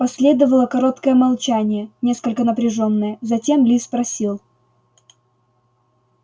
последовало короткое молчание несколько напряжённое затем ли спросил